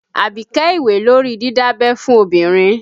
Abike ìwé lórí didabẹ́ fun obìnrin